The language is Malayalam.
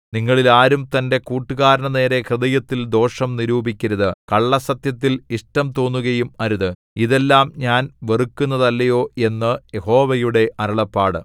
നിങ്ങളിൽ ആരും തന്റെ കൂട്ടുകാരന്റെ നേരെ ഹൃദയത്തിൽ ദോഷം നിരൂപിക്കരുത് കള്ളസ്സത്യത്തിൽ ഇഷ്ടം തോന്നുകയും അരുത് ഇതെല്ലാം ഞാൻ വെറുക്കുന്നതല്ലയോ എന്നു യഹോവയുടെ അരുളപ്പാട്